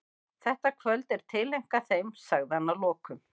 Þetta kvöld er tileinkað þeim, sagði hann að lokum.